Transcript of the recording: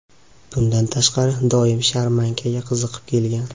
Bundan tashqari, doim sharmankaga qiziqib kelgan.